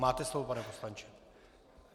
Máte slovo, pane poslanče.